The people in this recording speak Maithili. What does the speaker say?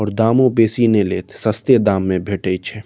और दामों बेसी नई लेत सस्ते दाम में भैठई छै।